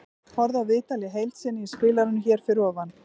Horfðu á viðtalið í heild sinni í spilaranum hér fyrir ofan.